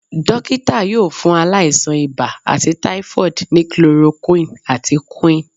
Dọkita yóò fún ailasan ìbá àti typhoid ní chloroquine àti quinn